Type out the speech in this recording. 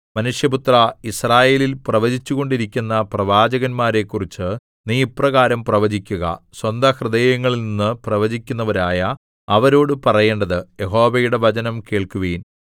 മനുഷ്യപുത്രാ യിസ്രായേലിൽ പ്രവചിച്ചുകൊണ്ടിരിക്കുന്ന പ്രവാചകന്മാരെക്കുറിച്ച് നീ ഇപ്രകാരം പ്രവചിക്കുക സ്വന്തഹൃദയങ്ങളിൽനിന്നു പ്രവചിക്കുന്നവരായ അവരോട് പറയേണ്ടത് യഹോവയുടെ വചനം കേൾക്കുവിൻ